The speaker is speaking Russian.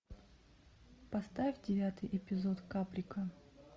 поставь девятый эпизод каприка